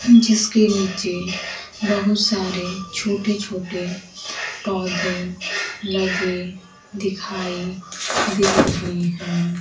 जिसके नीचे बहुत सारे छोटे छोटे पौधे लगे दिखाई दे रहे हैं।